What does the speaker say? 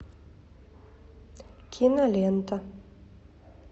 кинолента